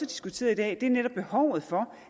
diskuteret i dag er netop behovet for